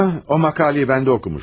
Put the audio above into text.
Hə, o məqaləni mən də oxumuşdum.